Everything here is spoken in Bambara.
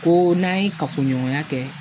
Ko n'an ye kafoɲɔgɔnya kɛ